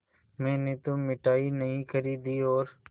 मैंने तो मिठाई नहीं खरीदी और